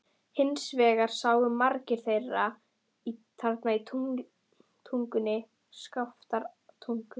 Hins vegar sáu margir þarna í Tungunni, Skaftártungu.